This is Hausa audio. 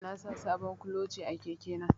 Yau na sa sabon kuloce a keke na